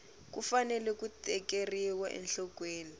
ku fanele ku tekeriwa enhlokweni